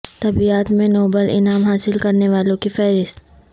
طبیعیات میں نوبل انعام حاصل کرنے والوں کی فہرست